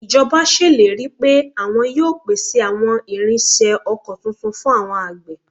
Ìjọba ṣèlérí pé àwọn yóò pèsè àwọn irinṣẹ́ oko tuntun fún àwọn àgbẹ̀